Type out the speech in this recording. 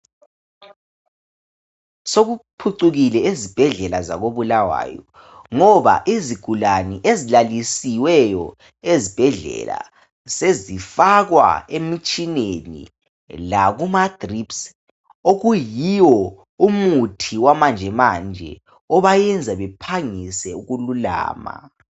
Sokuphucukile ezibhedlela zako Bulawayo ngoba izigulane ezilalisiweyo ezibhedlela sezifakwa emitshineni lakumadrips okuyiwo umuthi wamanjemanje obayenza bephangise ukululama